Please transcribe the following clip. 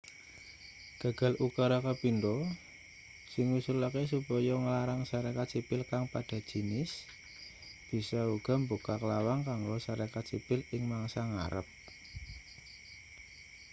gagal ukara kapindho sing ngusulake supaya nglarang sarekat sipil kang padha jinis bisa uga mbukak lawang kanggo sarekat sipil ing mangsa ngarep